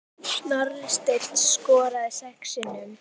Snorri Steinn skoraði sex sinnum.